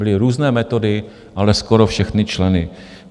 Byly různé metody, ale skoro všichni členové.